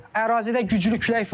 Ərazidə güclü külək var.